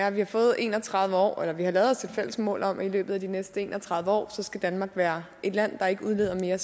at vi har fået en og tredive år eller vi har lavet os et fælles mål om at i løbet af de næste en og tredive år skal danmark være et land der ikke udleder mere